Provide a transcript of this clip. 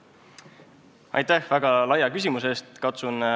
Aitäh väga laia küsimuse eest!